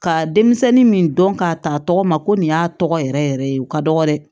Ka denmisɛnnin min dɔn k'a ta a tɔgɔ ma ko nin y'a tɔgɔ yɛrɛ yɛrɛ yɛrɛ ye u ka dɔgɔn dɛ